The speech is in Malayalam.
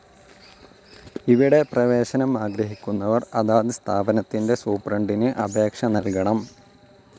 ഇവിടെ പ്രവേശനം ആഗ്രഹിക്കുന്നവർ അതാത് സ്ഥാപനത്തിൻ്റെ സൂപ്രണ്ടിനു അപേക്ഷ നൽകണം.